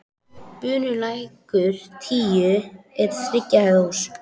Bunulækur tíu er þriggja hæða hús.